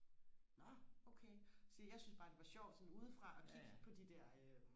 nå okay siger jeg jeg synes bare det var sjovt sådan ude fra og kigge på de der øh